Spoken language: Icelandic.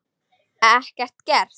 Ekkert gert?